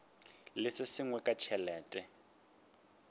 le se sengwe ka tšhelete